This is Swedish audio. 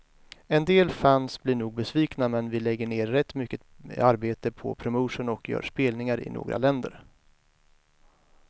En del fans blir nog besvikna, men vi lägger ner rätt mycket arbete på promotion och gör spelningar i några länder.